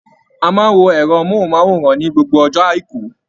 A máa n wo ẹrọ mohunmaworan ni gbogbo ọjọ aiku.